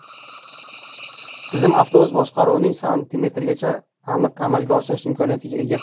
Tizim avtobus boshqaruvini santimetrgacha aniq amalga oshirish imkoniyatiga ega.